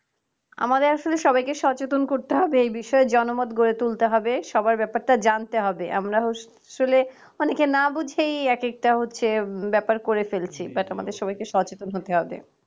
আমাদের আসলে সবাইকে সচেতন করতে হবে এই বিষয়ে জনমত গড়ে তুলতে হবে সবার ব্যাপারটা জানতে হবে আমরা আসলে অনেকে না বুঝেই একেকটা হচ্ছে ব্যাপার করে ফেলছি but আমাদের সবাইকে সচেতন হতে হবে